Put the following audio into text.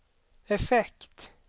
effekt